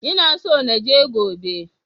Ina so na je gobe.